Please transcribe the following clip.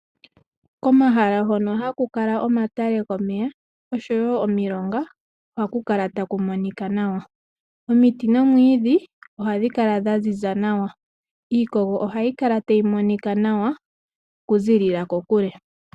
Komahala hono haku kala omatale gomeya oshowo omilonga, ohaku kala taku monika nawa. Omiti noomwiidhi ohadhi kala dha ziza nawa. Iikogo ohayi kala tayi monika nawa okuziilila kokule.